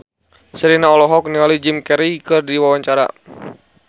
Sherina olohok ningali Jim Carey keur diwawancara